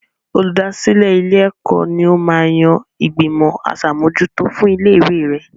Olùdásílẹ̀ ilé-ẹ̀kọ́ ní ó máa ń yan ìgbìmọ̀ aṣàmójútó fún ilé ìwé rẹ.